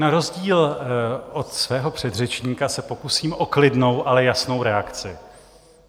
Na rozdíl od svého předřečníka se okusím o klidnou, ale jasnou reakci.